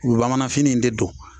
U be bamanan fini in de don